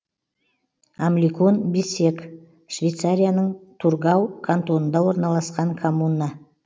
амликон биссег швейцарияның тургау кантонында орналасқан коммуна